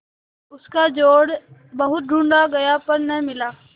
उसका जोड़ बहुत ढूँढ़ा गया पर न मिला